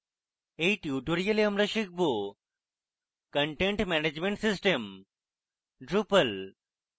in tutorial আমরা শিখব: content management system drupal